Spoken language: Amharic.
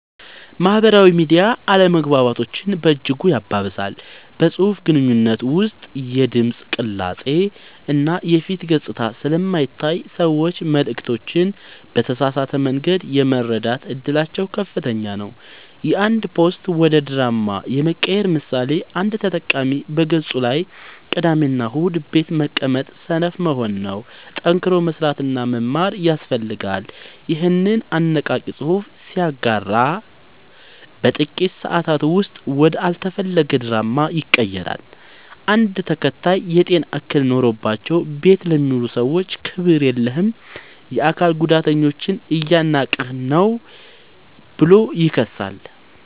ማህበራዊ ሚዲያ አለመግባባቶችን በእጅጉ ያባብሳል። በፅሁፍ ግንኙነት ውስጥ የድምፅ ቅላፄ እና የፊት ገፅታ ስለማይታይ ሰዎች መልዕክቶችን በተሳሳተ መንገድ የመረዳት እድላቸው ከፍተኛ ነው። የአንድ ፖስት ወደ ድራማ የመቀየር ምሳሌ፦ አንድ ተጠቃሚ በገፁ ላይ "ቅዳሜና እሁድ ቤት መቀመጥ ሰነፍ መሆን ነው፣ ጠንክሮ መስራትና መማር ያስፈልጋል" ይኸንን አነቃቂ ፅሑፍ ሲያጋራ በጥቂት ሰአታት ውስጥ ወደ አልተፈለገ ድራማ ይቀየራል። አንድ ተከታይ "የጤና እክል ኖሮባቸው ቤት ለሚውሉ ሰዎች ክብር የለህም! የአካል ጉዳተኞችን እያናናቅህ ነው ብሎ ይከሳል።